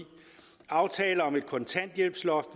aftale om et kontanthjælpsloft